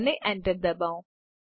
અને enter દબાવો